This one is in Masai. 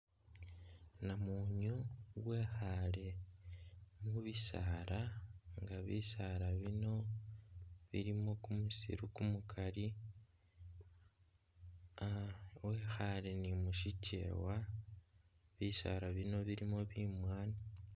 Namunyu wekhaale mu bisaala nga bisaala bino bilimo kumusiru kumukali wekhale ni mu shikyewa, bisaala bino bilimo bimwaanyi.